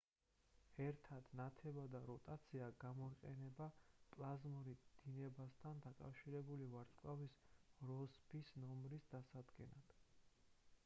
ერთად ნათება და როტაცია გამოიყენება პლაზმურ დინებასთან დაკავშირებული ვარსკვლავის როსბის ნომრის დასადგენად